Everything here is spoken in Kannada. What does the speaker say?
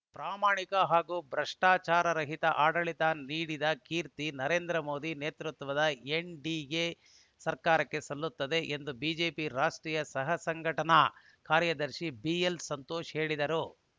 ಪ್ರಾಮಾಣಿಕ ಹಾಗೂ ಭ್ರಷ್ಟಾಚಾರರಹಿತ ಆಡಳಿತ ನೀಡಿದ ಕೀರ್ತಿ ನರೇಂದ್ರ ಮೋದಿ ನೇತೃತ್ವದ ಎನ್‌ಡಿಎ ಸರ್ಕಾರಕ್ಕೆ ಸಲ್ಲುತ್ತದೆ ಎಂದು ಬಿಜೆಪಿ ರಾಷ್ಟ್ರೀಯ ಸಹ ಸಂಘಟನಾ ಕಾರ್ಯದರ್ಶಿ ಬಿಎಲ್‌ ಸಂತೋಷ್‌ ಹೇಳಿದರು